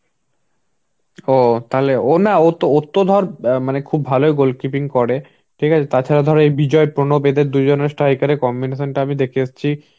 ও তাহলে ও না ও তো ধর মানে খুব ভালোই goalkeeping করে, ঠিক আছে. তাছাড়া ধরো এই বিজয় প্রণবেদের দুজনের striker এর combination টা আমি দেখে এসছি.